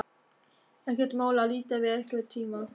Ekkert mál að líta við einhvern tíma.